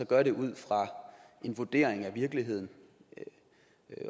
gør det ud fra en vurdering af virkeligheden